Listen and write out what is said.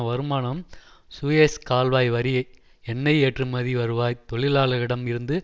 வருமானம் சுயேஸ் கால்வாய் வரி எண்ணெய் ஏற்றுமதி வருவாய் தொழிலாளர்களிடம் இருந்து